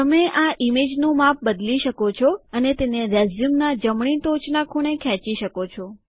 તમે આ ઇમેજનું માપ બદલી શકો છો અને તેને રેઝ્યુમનાં જમણી ટોચનાં ખૂણે ખેંચી શકો છો